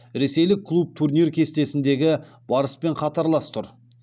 ресейлік клуб турнир кестесіндегі барыспен қатарлас тұр